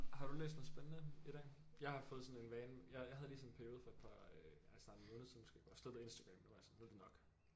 Har du læst noget spændende i dag jeg har fået sådan en vane jeg jeg havde lige sådan en periode for et par øh ja snart en måned siden måske hvor jeg slettede Instagram jeg var bare sådan nu er det nok